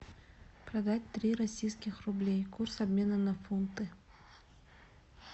продать три российских рублей курс обмена на фунты